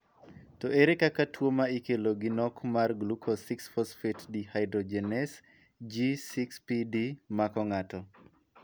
To ere kaka tuo ma ikelo gi nok mar glucose 6 phosphate dehydrogenase (G6PD) mako ng'ato?